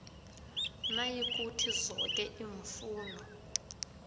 nayikuthi zoke iimfuno